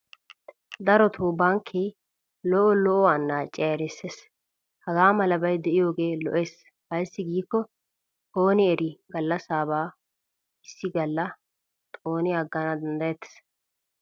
Darotoo bankke lo'o lo'o annaciya erisses. Hagaa malabay diyoogee lo'es ayssi giikko ooni erii gallassabaa issi galla xooni aggana danddayettes.